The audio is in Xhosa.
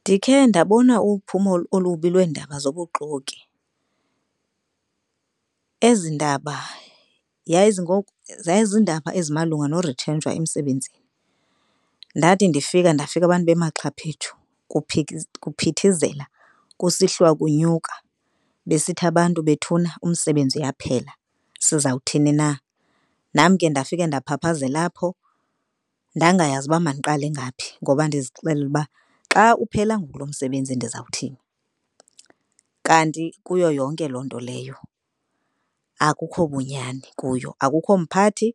Ndikhe ndabona uphumo olubi lweendaba zobuxoki. Ezi ndaba zayizindaba ezimalunga nokurithrentshwa emsebenzini. Ndathi ndifika ndafika abantu bemaxhaphetshu kuphithizela kusihliwa kunyuka besithi abantu bethuna umsebenzi yaphela, sizawuthini na. Nam ke ndafika ndaphaphazela apho ndangayazi uba mandiqale ngaphi ngoba ndizixelele uba xa uphela ngoku lo msebenzi ndizawuthini. Kanti kuyo yonke loo nto leyo akho bunyani kuyo. Akukho mphathi